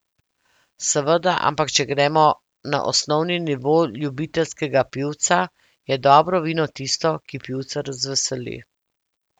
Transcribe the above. Seveda, ampak če gremo na osnovni nivo ljubiteljskega pivca, je dobro vino tisto, ki pivca razveseli.